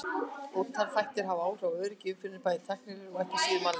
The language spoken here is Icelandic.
Ótal þættir hafa áhrif á öryggi í umferðinni, bæði tæknilegir og ekki síður mannlegir.